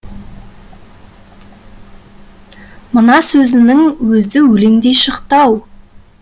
мына сөзінің өзі өлеңдей шықты ау